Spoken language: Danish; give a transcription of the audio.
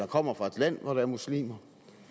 kommer fra et land hvor der er muslimer